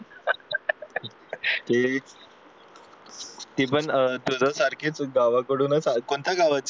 हे एक ती पण अह तुझ्यासारखिच गावाकडूनच आली आहे कोणत्या गावाची